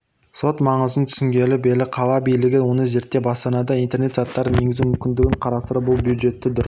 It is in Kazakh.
іот маңызын түсінгелі қала билігі оны зерттеп астанада интернет заттарын енгізу мүмкіндігін қарастыруда бұл бюджетті дұрыс